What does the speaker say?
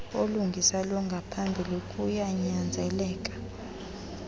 olungisa longaphambili kuyanyanzeleka